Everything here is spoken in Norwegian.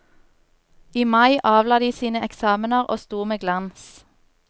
I mai avla de sine eksamener og sto med glans.